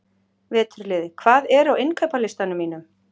Veturliði, hvað er á innkaupalistanum mínum?